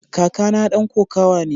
Kakana dan kokawa ne.